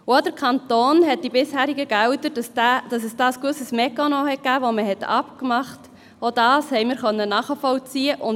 Auch konnten wir nachvollziehen, dass in Bezug auf die bisherigen Gelder des Kantons ein gewisser Mechanismus vereinbart war.